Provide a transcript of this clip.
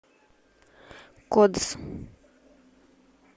кодс